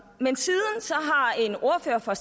men siden har en ordfører fra